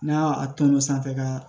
N'a ya a ton o sanfɛ ka